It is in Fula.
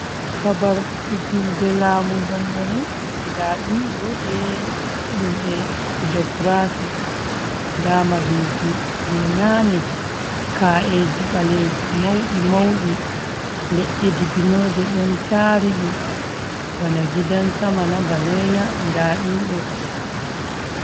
Babar fijilde laamu dondoonu, ndaa ɗum ɗo be himɓe jogiraafi .Ndaa mahiji jey naane ka’eeji baleeji mawɗi mawɗi, leɗɗe dibinooje ɗon taari ɗum bana gidan samana ,ba noya ndaa ɗum ɗo.